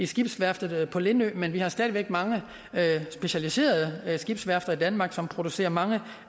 skibsværftet på lindø men vi har stadig væk mange specialiserede skibsværfter i danmark som producerer mange